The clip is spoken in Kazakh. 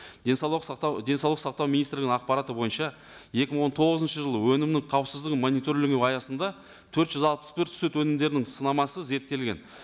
денсаулық сақтау денсаулық сақтау министрлігінің ақпараты бойынша екі мың он тоғызыншы жылы өнімнің қауіпсіздігін мониторингілеу аясында төрт жүз алпыс бір сүт өңімдерінің сынамасы зерттелген